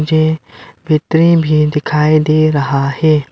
मुझे पित्नी भी दिखाई दे रहा है।